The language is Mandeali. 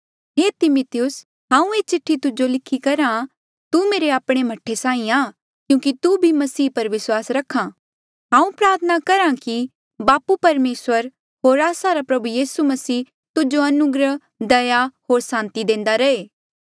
हे तिमिथियुस हांऊँ ये चिठ्ठी तुजो लिखी करहा तू मेरे आपणे मह्ठे साहीं आ क्यूंकि तू भी मसीह पर विस्वास रखा हांऊँ प्रार्थना करहा कि बापू परमेसर होर आस्सा रा प्रभु मसीह यीसू तुजो अनुग्रह दया होर सांति देंदा रहे